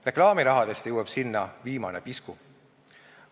Reklaamirahast jõuab sinna viimane pisku.